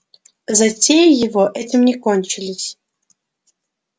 затеи его этим не кончились